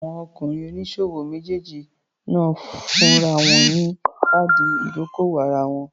Àwọn ọkùnrin oníṣòwò méjèèjì náà fúnra wọn ní káàdì ìdókòwò ara wọn.